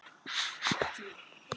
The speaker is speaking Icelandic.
Þórði frænda mínum!